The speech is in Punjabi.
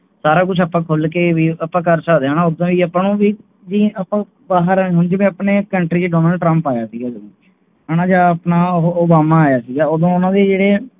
ਸਾਰਾ ਕੁਛ ਆਪਾ ਖੁੱਲਕੇ ਆਪਾਂ ਕਰ ਸਕਦੇ ਹਾਂ ਉਹਦਾ ਹੀ ਆਪਾ ਜੀਦਾ ਆਪਣੇ Country ਡੋਨਾਲਡ ਟਰੰਪ ਆਇਆ ਸੀ ਅਪਨਾ ਓਬਾਮਾ ਆਇਆ ਸੀ ਉਹਦੋਂ ਉਹਨਾਂ ਦੇ ਜਿਹੜੇ